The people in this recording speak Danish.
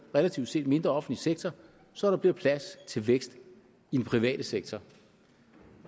relativt set mindre offentlig sektor så der bliver plads til vækst i den private sektor